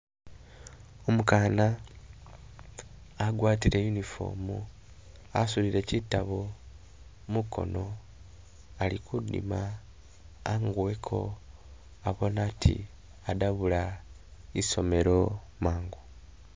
Umukaana agwatile uniform asudile kyitabo mukono ali kudima anguweko abone ati adabula isomelo mangu